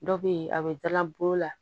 Dɔ be yen a be dala bolo la